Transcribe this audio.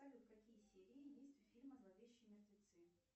салют какие серии есть у фильма зловещие мертвецы